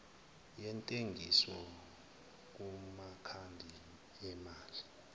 yentengiso kumakhadi emali